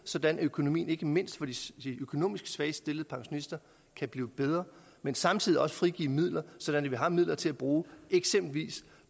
sådan at økonomien ikke mindst for de økonomisk svagt stillede pensionister kan blive bedre men samtidig også frigive midler så vi har midler til at bruge